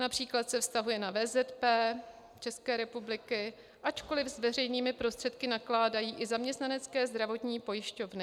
Například se vztahuje na VZP České republiky, ačkoliv s veřejnými prostředky nakládají i zaměstnanecké zdravotní pojišťovny.